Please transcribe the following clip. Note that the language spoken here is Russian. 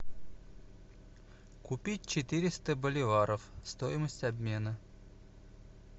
купить четыреста боливаров стоимость обмена